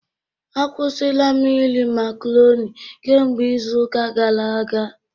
Akwụsịla m iri macroni kemgbe izu ụka gara aga